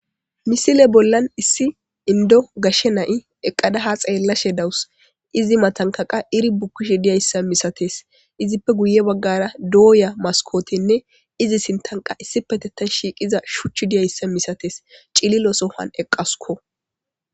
misile bollan issi indo gashshe nayi eqqada ha xeellashe dawus izi matankaqa iri bukkishi diyayssa misates izippe guye baggara dooya maskootenne izi sintanqa issi petettan shiiqiza shuchch diyayssa misates cililo sohan eqqasuko